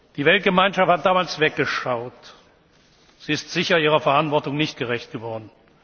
angehörten. Die Weltgemeinschaft hat damals weggeschaut. Sie ist sicher ihrer Verantwortung nicht gerecht